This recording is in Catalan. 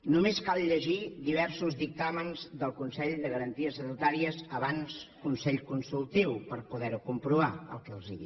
només cal llegir diversos dictàmens del consell de garanties estatutàries abans consell consultiu per poder comprovar el que els dic